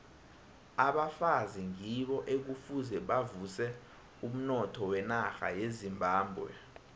abafazi ngibo ekufuze bavuse umnotho wenarha yezimbabwe